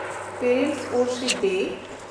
parents worship day